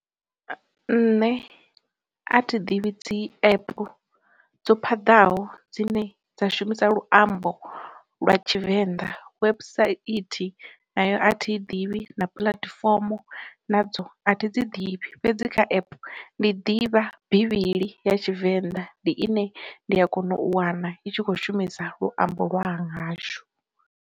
Nṋe a thi ḓivhi dzi app dzo phaḓaho dzine dza shumisa luambo lwa Tshivenḓa, website nayo a thi iḓivhi, na puḽatifomo nadzo athi dzi ḓivhi, fhedzi kha epe ndi ḓivha bivhili ya Tshivenḓa ndi ine ndi a kona u wana i tshi kho shumisa luambo lwa hashu.